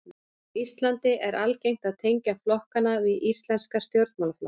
Á Íslandi er algengt að tengja flokkana við íslenska stjórnmálaflokka.